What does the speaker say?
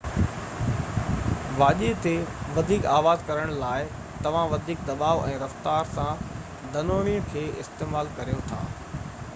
واڄي تي وڌيڪ آواز ڪرڻ لاءِ توهان وڌيڪ دٻاءُ ۽ رفتار سان ڌنوڻي کي استعمال ڪريو ٿا